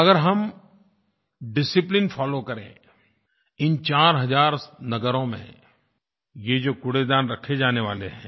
अगर हम discipline follow करें इन चार हज़ार नगरों में ये जो कूड़ेदान रखे जाने वाले हैं